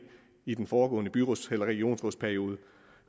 i den foregående byråds eller regionsrådsperiode